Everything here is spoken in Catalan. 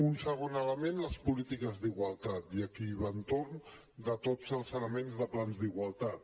un segon element les polítiques d’igualtat i aquí va entorn de tots els elements de plans d’igualtat